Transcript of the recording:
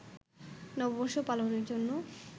নববর্ষ পালনের জন্য